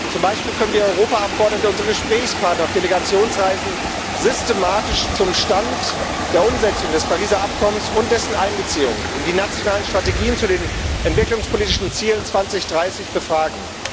Zum Beispiel können wir Europaabgeordnete unsere Gesprächspartner auf Delegationsreisen systematisch zum Stand der Umsetzung des Pariser Übereinkommens und dessen Einbeziehung in die nationalen Strategien zu den entwicklungspolitischen Zielen 2030 befragen.